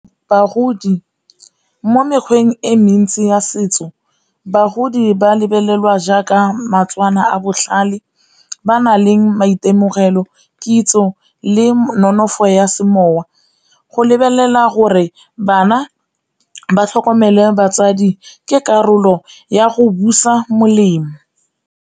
Bagodi mo mekgweng e mentsi ya setso bagodi ba lebelelwa jaaka a botlhale ba na leng maitemogelo, kitso le nonofo ya semowa. Go lebelelwa gore bana ba tlhokomele batsadi ke karolo ya go busa molemo.